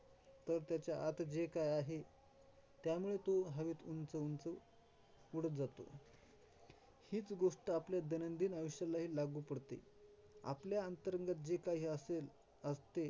तर त्याच्या आत जे काही आहे, त्यामुळे तो हवेत उंच-उंच उडत जातो. हीच गोष्ट आपल्या दैनंदिन आयुष्यालाही लागू पडते, आपल्या अंतरंगात जे काही असेल असते.